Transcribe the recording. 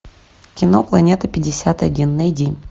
кино планета пятьдесят один найди